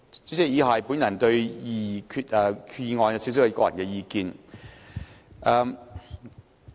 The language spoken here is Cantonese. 主席，以下是我對擬議決議案的個人意見。